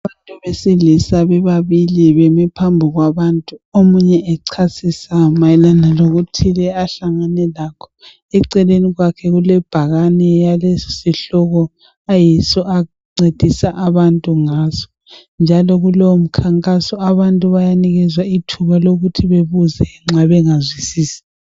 Abantu besilisa bebabili beme phambi kwabantu omunye echasisa mayelana lokuthile ahlangane lakho, eceleni kwakhe kule bhakane yalesi sihloko ayiso ancedisa abantu ngaso njalo kulowo mkhankaso abantu bayanikezwa ithuba lokuthi bebuze nxa bengazwisisi.